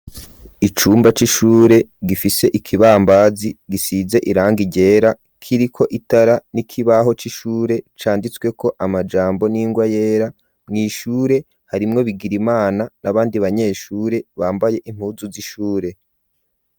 Icumba c'ishure gifise ikibambazi gisize irangi ryera kiriko itara n'ikibaho cishure canditswe ko amajambo n'ingwa yera, mwishure harimwo Bigirimana n'abandi banyeshure bambaye impuzu z'ishure.